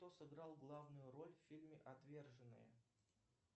кто сыграл главную роль в фильме отверженные